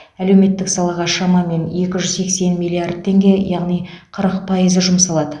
әлеуметтік салаға шамамен екі жүз сексен миллиард теңге яғни қырық пайызы жұмсалады